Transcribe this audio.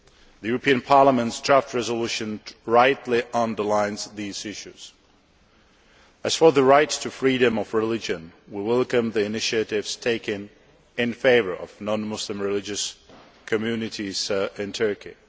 The European Parliament's draft resolution rightly underlines these issues. As for the right to freedom of religion, we welcome the initiatives taken in favour of non Muslim religious communities in Turkey.